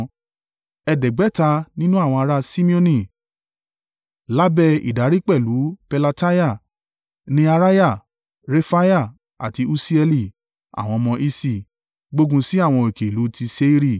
Ẹ̀ẹ́dẹ́gbẹ̀ta (500) nínú àwọn ará Simeoni, lábẹ́ ìdarí pẹ̀lú Pelatiah, Neariah, Refaiah àti Usieli, àwọn ọmọ Iṣi, gbógun sí àwọn òkè ìlú ti Seiri.